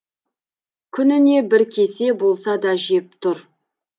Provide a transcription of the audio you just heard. күніне бір кесе болса да жеп тұр